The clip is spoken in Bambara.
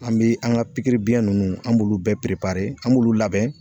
An bi an ka pikiribiɲɛ nunnu an b'olu bɛɛ bɛ b'olu labɛn.